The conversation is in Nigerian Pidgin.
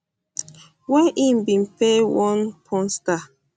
wey im bin pay one porn star